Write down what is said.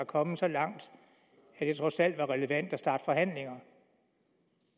kommet så langt at det trods alt var relevant at starte forhandlinger